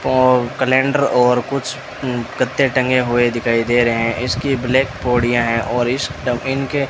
वो कैलेंडर और कुछ अं कट्टे टंगे हुए दिखाई दे रहे इसकी ब्लैक पोड़िया है और इस इनके --